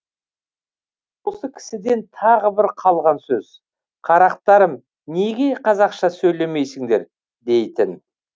ол кісіден тағы бір қалған сөз қарақтарым неге қазақша сөйлемейсіңдер дейтін